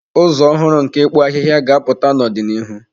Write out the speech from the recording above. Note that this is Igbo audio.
Ụzọ ọhụrụ nke ịkpụ ahịhịa ga-apụta n'ọdịnihu.